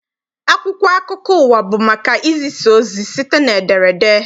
Akwụkwọ akụkọ ụwa bụ maka izisa ozi site n'ederede.